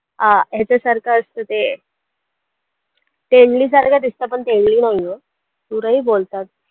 अं ह्याच्यासारखं असतं ते टेंडली सारखं दिसतं पण टेंडली नाहीये सुरई बोलतात.